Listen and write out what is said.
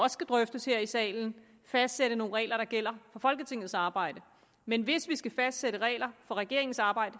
skal drøftes her i salen fastsætte nogle regler der gælder for folketingets arbejde men hvis vi skal fastsætte regler for regeringens arbejde